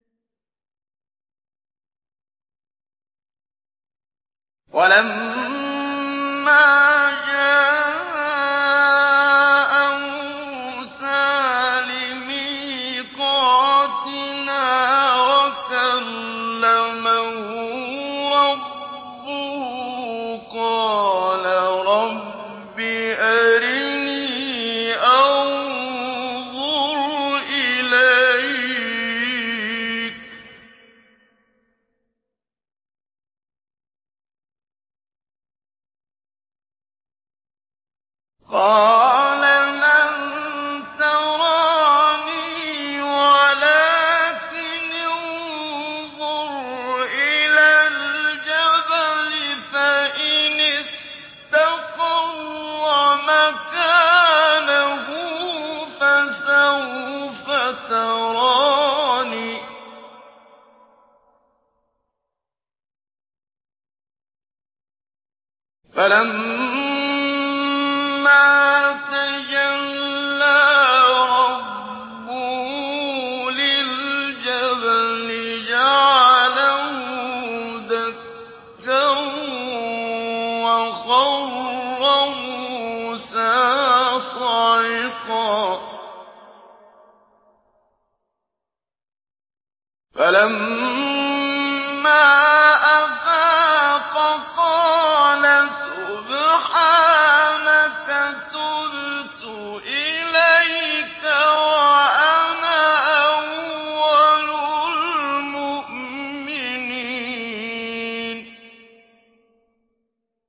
وَلَمَّا جَاءَ مُوسَىٰ لِمِيقَاتِنَا وَكَلَّمَهُ رَبُّهُ قَالَ رَبِّ أَرِنِي أَنظُرْ إِلَيْكَ ۚ قَالَ لَن تَرَانِي وَلَٰكِنِ انظُرْ إِلَى الْجَبَلِ فَإِنِ اسْتَقَرَّ مَكَانَهُ فَسَوْفَ تَرَانِي ۚ فَلَمَّا تَجَلَّىٰ رَبُّهُ لِلْجَبَلِ جَعَلَهُ دَكًّا وَخَرَّ مُوسَىٰ صَعِقًا ۚ فَلَمَّا أَفَاقَ قَالَ سُبْحَانَكَ تُبْتُ إِلَيْكَ وَأَنَا أَوَّلُ الْمُؤْمِنِينَ